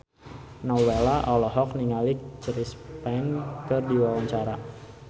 Nowela olohok ningali Chris Pane keur diwawancara